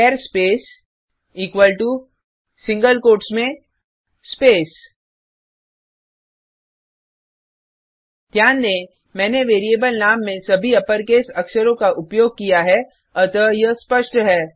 चार space equal to single quotes में space ध्यान दें मैंने वेरिएबल नाम में सभी अपरकेस अक्षरों का उपयोग किया है अतः यह स्पष्ट है